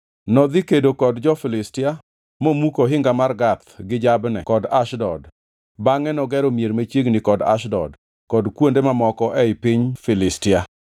Nodhi kedo kod jo-Filistia momuko ohinga mar Gath gi Jabne kod Ashdod. Bangʼe nogero mier machiegni kod Ashdod, kod kuonde mamoko ei piny Filistia.